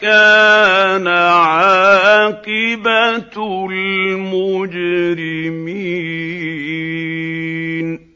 كَانَ عَاقِبَةُ الْمُجْرِمِينَ